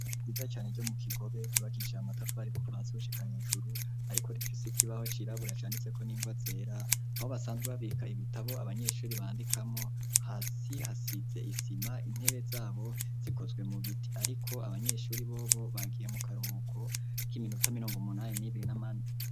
Ishure ryiza cane ryo mu Kigobe ryubakishije amatafari kuva hasi gushika hejuru ariko rifise ikibaho cirabura canditseko n'ingwa zera, aho basanzwe babika ibitabo abanyeshuri bandikamo hasi hasize isima intebe zabo zikozwe mu biti ariko abanyeshuri bobo bagiye mu karuhuko kiminota mirongo munani n'ibiri.